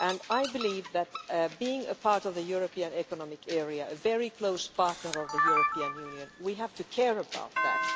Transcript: I believe that with Norway being a part of the European Economic Area, a very close partner of the European Union, we have to care about that.